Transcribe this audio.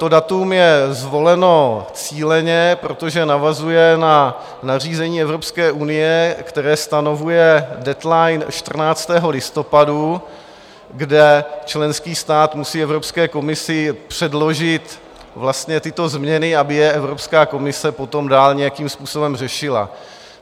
To datum je zvoleno cíleně, protože navazuje na nařízení Evropské unie, které stanovuje deadline 14. listopadu, kde členský stát musí Evropské komisi předložit vlastně tyto změny, aby je Evropská komise potom dál nějakým způsobem řešila.